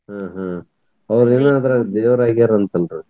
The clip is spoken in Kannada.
ಹ್ಮ್ ಹ್ಮ್ ಅವ್ರೆನ್ ದೇವ್ರ್ ಆಗ್ಯಾರಂತಲ್ರಿ?